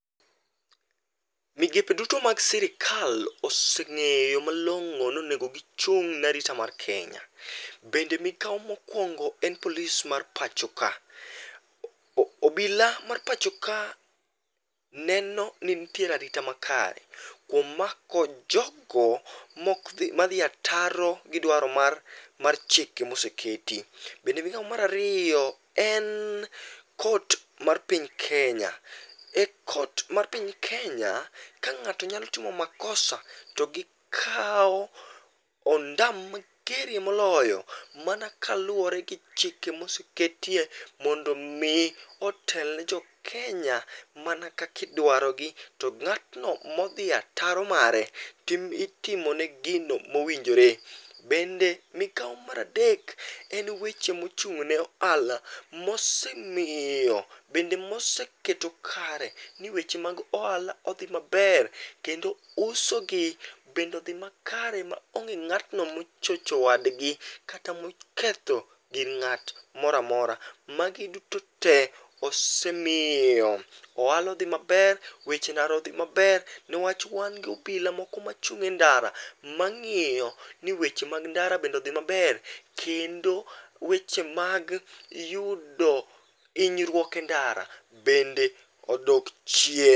Migepe duto mag sirkal oseng'eyo malong'o nonego gichung' ne arita mar Kenya. Bende migao mokwongo en police mar pacho ka. Oo obila mar pacho ka nenoni ntiere arita makare, kwom mako jogo mokdhi madhi ataro gi dwaro mar mar chike moseketi. Bende migao marario en court mar piny Kenya. E court ma piny Kenya, ka ng'ato nyalo timo makosa to gikao ondam mageria moloyo, mana kaluworegi chike mosektie mondo mii otelne jokenya mana kak idwarogi to ng'ato modhi ataro mare tim itimone gino mowinjore. Bende migao maradek en weche mochung'ne ohala, mosemio, bende moseketo kare ni weche mag ohala odhi maber kendo usogi bende odhi makare maonge ng'atno mochocho wadgi kata moketho gir ng'at moramora. Magi duto tee osemio ohala odhi maber, weche ndara odhi maber, newach wan gobila moko machung' e ndara, mang'io ni weche mag ndara bende odhi maber kendo weche mag yudo hinyrwuok e ndara bende odok chie.